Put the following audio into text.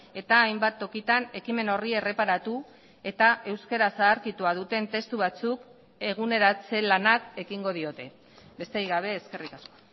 eta hainbat tokitan ekimen horri erreparatu eta euskara zaharkitua duten testu batzuk eguneratze lanak ekingo diote besterik gabe eskerrik asko